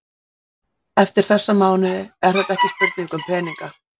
Eftir þessa mánuði er þetta ekki spurning um peninga.